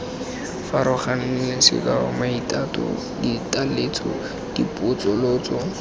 farologaneng sekao maitato ditaletso dipotsolotso